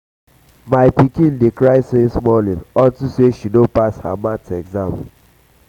my pikin dey um cry since morning unto say she no pass her math exam